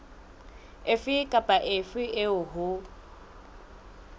efe kapa efe eo ho